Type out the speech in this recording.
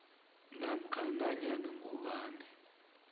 namkha nanyana ngubani